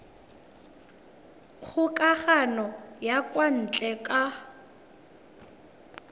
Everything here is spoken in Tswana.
kgokagano ya kwa ntle ka